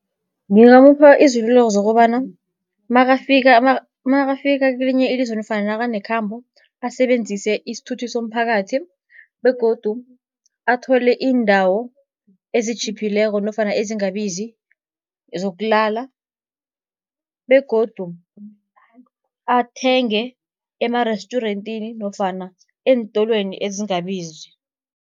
Ngingamupha iziluleko zokobana makafika makafika kelinye ilizwe nofana nakanekhambo, asebenzise isithuthi somphakathi begodu athole iindawo ezitjhiphileko nofana ezingabizi zokulala. Begodu athenge emarestyurentini nofana eentolweni ezingabizi.